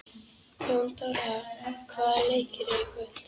Jóndóra, hvaða leikir eru í kvöld?